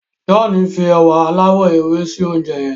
John fí ewa aláwò ewe sí oúnjẹ yén.